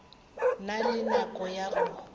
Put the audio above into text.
na le nako ya go